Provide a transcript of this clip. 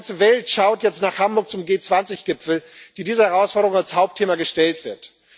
Die ganze Welt schaut jetzt nach Hamburg zum G20 Gipfel, dem diese Herausforderung als Hauptthema gestellt wird.